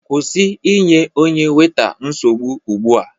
Kwụsị inye onye weta nsogbu ugbu a!